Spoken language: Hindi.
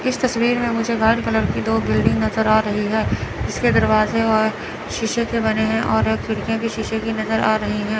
इस तस्वीर में मुझे व्हाइट कलर की दो बिल्डिंग नज़र आ रही है जिसके दरवाजे और शीशे के बने हैं और खिड़कियां भी शीशे की नज़र आ रही है।